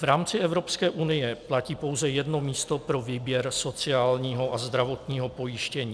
V rámci Evropské unie platí pouze jedno místo pro výběr sociálního a zdravotního pojištění.